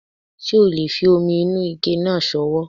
Ṣé o le fi omi inú ike náà sọwọ́